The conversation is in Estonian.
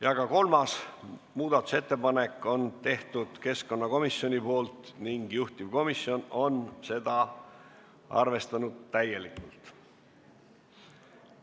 Ja ka kolmas muudatusettepanek on keskkonnakomisjoni tehtud ning juhtivkomisjon on seda arvestanud täielikult.